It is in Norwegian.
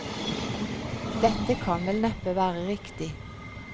Dette kan vel neppe være riktig.